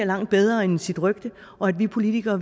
langt bedre end sit rygte og at vi politikere